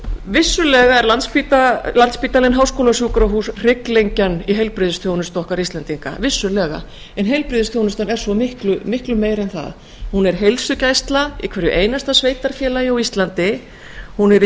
vissulega er landspítalinn háskólasjúkrahús hrygglengjan í heilbrigðisþjónustu okkar íslendinga vissulega en heilbrigðisþjónustan er svo miklu meira en það hún er heilsugæsla í hverju einasta sveitarfélagi á íslandi hún er í